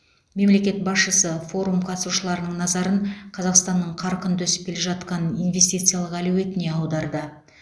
мемлекет басшысы форум қатысушыларының назарын қазақстанның қарқынды өсіп келе жатқан инвестициялық әлеуетіне аударды